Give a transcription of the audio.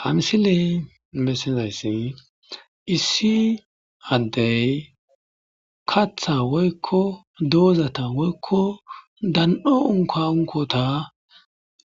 Ha missileza bolla bettizayiss issi adey kaaththa woyikko dozata dhale woyikko dan"o unka unkotta